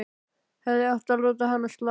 Hefði átt að láta hana slá.